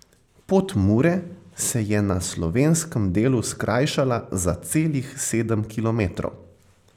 Pot Mure se je na slovenskem delu skrajšala za celih sedem kilometrov.